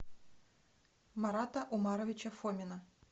марата умаровича фомина